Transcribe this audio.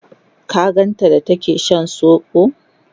ka ganta da take Shan sobo?